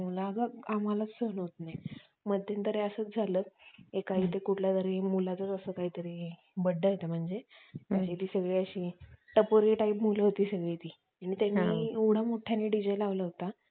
त्याच्यामागेसुद्धा ही आख्यायिका आहे किंवा त्याच्यामागे हा जो अर्थ आहे चांगला